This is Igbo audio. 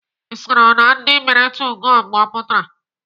Ị soro na ndị mere 2go mgbe ọ pụtara?